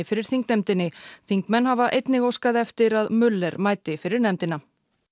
fyrir þingnefndinni þingmenn hafa einnig óskað eftir að mæti fyrir nefndina